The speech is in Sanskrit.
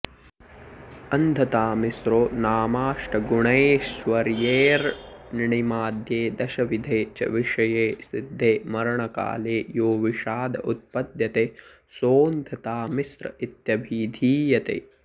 अन्धतामिस्रो नामाष्टगुणैश्वर्येऽणिमाद्ये दशविधे च विषये सिद्धे मरणकाले यो विषाद उत्पद्यते सोऽन्धतामिस्र इत्यभिधीयते